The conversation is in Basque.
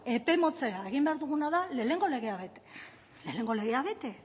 epe motzera egin behar duguna da lehenengo legea bete